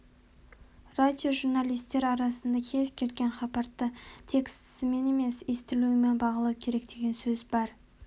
радиожурналистер арасында кез-келген хабарды текстісімен емес естілуімен бағалау керек деген сөз бар